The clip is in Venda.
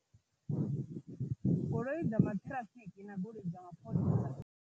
Goloi dza maṱhirafiki na goloi dza mapholisa.